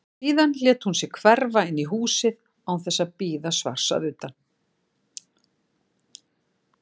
Síðan lét hún sig hverfa inn í húsið án þess að bíða svars að utan.